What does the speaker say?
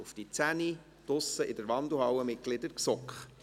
um 10 Uhr draussen in der Wandelhalle, Mitglieder der GSoK!